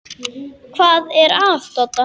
Hvað er að Dodda?